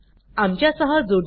आमच्या सहजूडण्यासाठी धन्यवाद